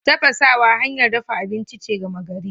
Tafasawa hanyar dafa abinci ce gama gari.